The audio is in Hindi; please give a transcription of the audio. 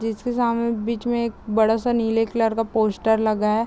जिसके सामे बीच में एक बड़ा-सा नीले कलर का पोस्टर लगा है।